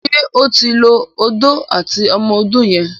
ṣe o tin ló Odó àti ọmọ odó yen?